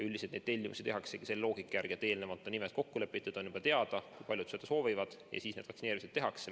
Üldiselt neid tellimusi tehaksegi selle loogika järgi, et eelnevalt on nimed kokku lepitud, on juba teada, kui paljud vaktsiini soovivad, ja siis need vaktsineerimised tehakse.